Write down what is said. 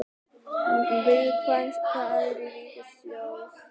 Viðkvæm staða ríkissjóðs